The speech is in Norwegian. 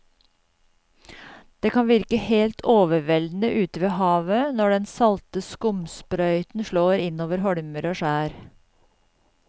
Det kan virke helt overveldende ute ved havet når den salte skumsprøyten slår innover holmer og skjær.